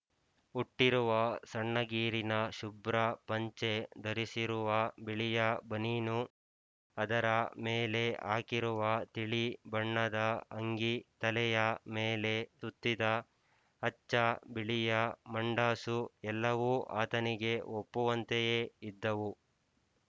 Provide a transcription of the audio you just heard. ಉಟ್ಟಿರುವ ಸಣ್ಣಗೀರಿನ ಶುಭ್ರ ಪಂಚೆ ಧರಿಸಿರುವ ಬಿಳಿಯ ಬನೀನು ಅದರ ಮೇಲೆ ಹಾಕಿರುವ ತಿಳಿ ಬಣ್ಣದ ಅಂಗಿ ತಲೆಯ ಮೇಲೆ ಸುತ್ತಿದ ಅಚ್ಚ ಬಿಳಿಯ ಮಂಡಾಸು ಎಲ್ಲವೂ ಆತನಿಗೆ ಒಪ್ಪುವಂತೆಯೇ ಇದ್ದವು